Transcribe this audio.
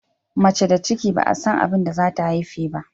Mace da ciki ba'a san abinda zata haife ba.